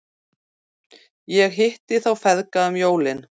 Ég hitti þá feðga um jólin.